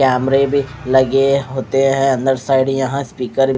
कैमरे भी लगे होते है अन्दर साइड यहाँ स्पीकर --